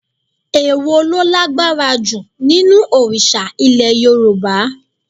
Èwo lo lágbára ju nínú òrìsà Ilẹ̀ Yorùbá?